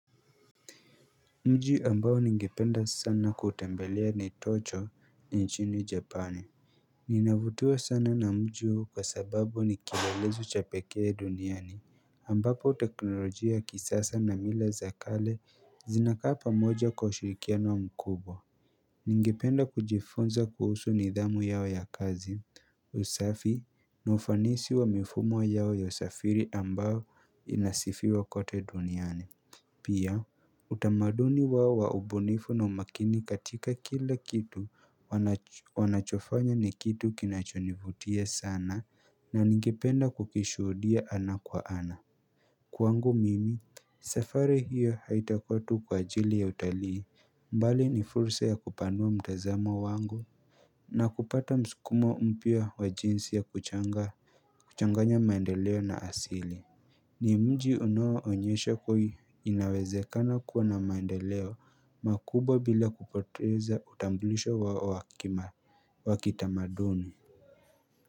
Mji ambao ningipenda sana kutembelea ni tocho ni nchini japani Ninavutua sana na mji huu kwa sababu ni kiilelezo cha pekee duniani ambapo teknolojia kisasa na mila za kale zinakaa pamoja kwa ushirikiano mkubwa Ningipenda kujifunza kuhusu nidhamu yao ya kazi usafi na ufanisi wa mifumo yao ya usafiri ambao inasifiwa kote duniani Pia utamaduni wao wa ubunifu na umakini katika kila kitu wanachofanya ni kitu kinachonivutia sana na ningipenda kukishudia ana kwa ana Kwangu mimi safari hiyo haitakua tu kwa ajili ya utalii bali ni fursa ya kupanua mtazamo wangu na kupata msikumo mpya wa jinsi ya kuchanganya maendeleo na asili ni mji unao onyesha kuhi inawezekana kuwa na maendeleo makubwa bila kupoteza utambulisho wa wa kitamaduni.